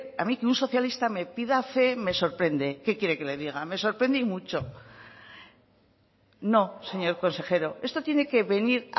a mí que un socialista me pida fe me sorprende qué quiere que le diga me sorprende y mucho no señor consejero esto tiene que venir